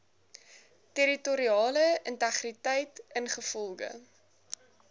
territoriale integriteit ingevolge